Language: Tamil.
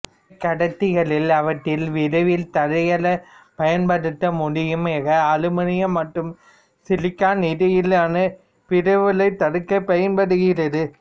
குறைக்கடத்திகளில் அவற்றை விரவல் தடைகளாக பயன்படுத்த முடியும் எ கா அலுமினியம் மற்றும் சிலிக்கான் இடையேயான விரவலைத் தடுக்க பயன்படுகிறது